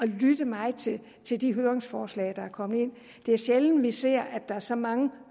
lyttet meget til til de høringsforslag der er kommet ind det er sjældent vi ser at der er så mange